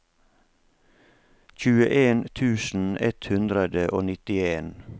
tjueen tusen ett hundre og nittien